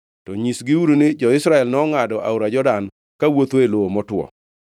To nyisgiuru ni, ‘Jo-Israel nongʼado aora Jordan kawuotho e lowo motwo.’